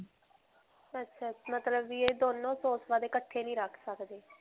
ਅੱਛਾ-ਅੱਛਾ ਮਤਲਬ ਵੀ ਇਹ ਦੋਨੋਂ course ਵਾਲੇ ਇਕੱਠੇ ਨਹੀਂ ਰੱਖ ਸਕਦੇ.